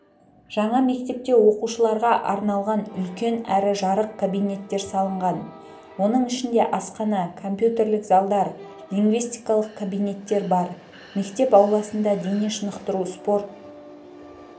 жаңа мектепте оқушыларға арналған үлкен әрі жарық кабинеттер салынған оның ішінде асхана компьютерлік залдар лингвистикалық кабинеттер бар мектеп ауласында дене шынықтыру-спорт